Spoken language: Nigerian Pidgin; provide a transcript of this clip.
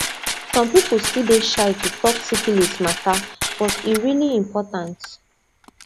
some people still dey shy to talk syphilis matter but e really important